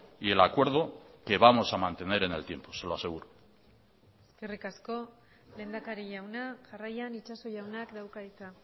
y el acuerdo que vamos a mantener en el tiempo se lo aseguro eskerrik asko lehendakari jauna jarraian itxaso jaunak dauka hitza